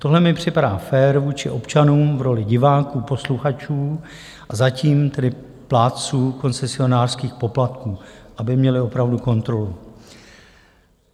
Tohle mi připadá fér vůči občanům v roli diváků, posluchačů a zatím tedy plátců koncesionářských poplatků, aby měli opravdu kontrolu.